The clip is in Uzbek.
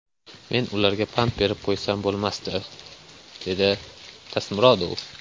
Men ularga pand berib qo‘ysam bo‘lmasdi”, – dedi Tasmurodov.